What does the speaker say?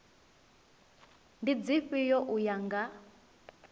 ndi dzifhio u ya nga